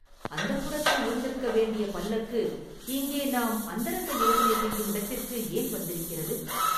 அந்தப்புரத்தில் இருந்திருக்க வேண்டிய பல்லக்கு இங்கே நாம் அந்தரங்க யோசனை செய்யும் இடத்திற்கு ஏன் வந்திருக்கிறது?